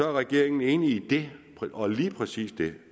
er regeringen enig i det og lige præcis det